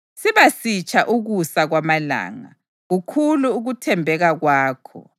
Siba sitsha ukusa kwamalanga; kukhulu ukuthembeka kwakho.